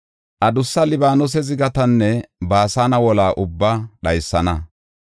Adussa Libaanose zigatanne Baasane wola ubbaa dhaysana;